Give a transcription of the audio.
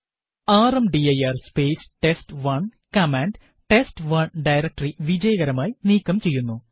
rmdir space test one command test one directory വിജയകരമായി നീക്കം ചെയ്യുന്നു